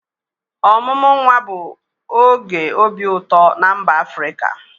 Ọmụmụ nwa bụ oge obi ụtọ na mba Afrịka.